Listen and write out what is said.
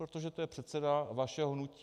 Protože to je předseda vašeho hnutí.